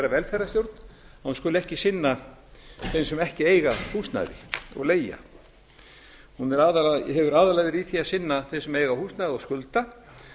velferðarstjórn skuli ekki sinna þeim sem ekki eiga húsnæði og leigja hún hefur aðallega verið í því að sinna þeim sem eiga húsnæði og skulda